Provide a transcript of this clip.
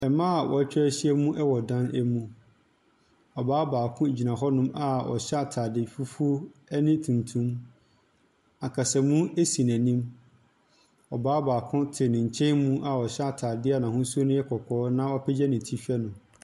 Ɛmaa watwa ahyia mu ɛwɔ ɛdan mu, ɔbaa baako gyina hɔnom a ɔhyɛ ataade fufuo ɛne tuntum. Akasa mu ɛsi na anim, ɔbaa baako te ne nkyɛn mu a ɔhyɛ ataade na ahosuo yɛ kɔkɔɔ na wa apagya ne ti hwɛ no.